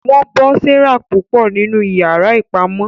Wọn bọ Sarah púpọ ninu iyàrá ìpamọ.